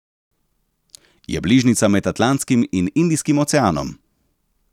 Je bližnjica med Atlantskim in Indijskim oceanom.